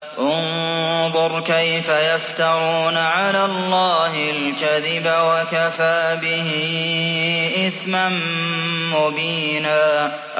انظُرْ كَيْفَ يَفْتَرُونَ عَلَى اللَّهِ الْكَذِبَ ۖ وَكَفَىٰ بِهِ إِثْمًا مُّبِينًا